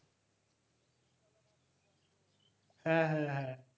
হ্যাঁ হ্যাঁ হ্যাঁ